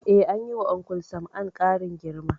Eh, anyi wa Uncle Sam'an ƙarin girma